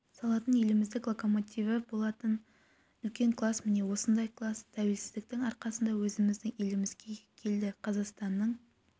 салатын еліміздік локомотиві болатын үлкен класс міне осындай класс тәуелсіздіктің арқасында өзіміздің елімізге келді қазақстанның